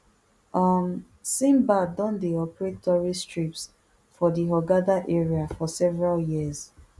um sindbad don dey operate tourist trips for di hurghada area for several years